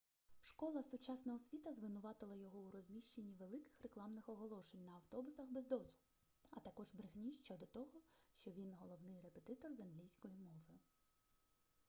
школа сучасна освіта звинуватила його у розміщенні великих рекламних оголошень на автобусах без дозволу а також брехні щодо того що він головний репетитор з англійської мови